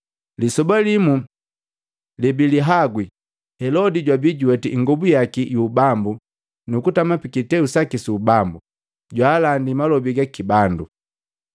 Lisoba limu lebilihagwi, Helodi jwabi juweti ingobu yaki yu ubambu nukutama pikiteu su ubambu, jwaalandi malobi gaki bandu.